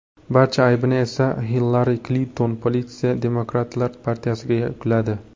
Barcha aybni esa Hillari Klinton, politsiya, demokratlar partiyasiga yukladi.